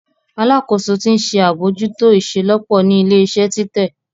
Alakoso ti nṣe abojuto iṣelọpọ ni ile-iṣẹ titẹ.